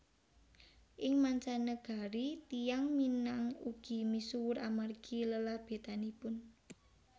Ing mancanegari tiyang Minang ugi misuwur amargi lelabetanipun